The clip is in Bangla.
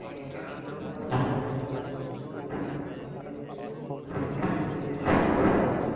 আসলে সবাই বলে যে ইস্কুল জীবনের সময়টাই জীবনের সব থেকে সুন্দর সময়।